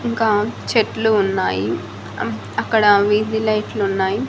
ఇంకా చెట్లు ఉన్నాయి అమ్ అక్కడ వీధి లైట్లు ఉన్నాయి.